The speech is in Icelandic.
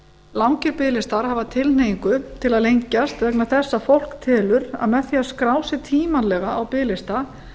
langir biðlistar hafa tilhneigingu til að lengjast vegna þess að fólk telur að með því að skrá sig tímanlega á biðlista